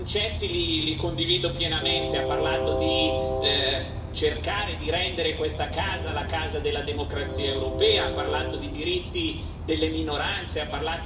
Ha parlato di cercare di rendere questa Assemblea la casa della democrazia europea, ha parlato di diritti delle minoranze, ha parlato di rispetto per le idee diverse.